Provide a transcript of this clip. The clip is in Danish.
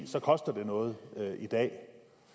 så koster det noget i dag